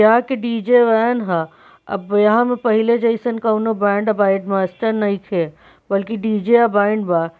यहाँ के DJ. Van ह अब यहा पर पहिले जईसन कोनों बैंड मास्टर नइखे बल्कि डी.जे. अब बैंड बा।